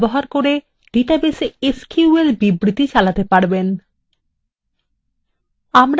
আপনি we window ব্যবহার করে ডাটাবেসে এসকিউএল বিবৃতি চালাতে পারেন